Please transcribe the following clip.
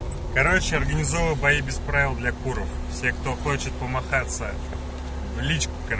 короче организован бои без правил для куров те кто хочет помахатся в личку